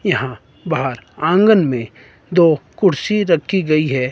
यहां बाहर आंगन में दो कुर्सी रखी गई है।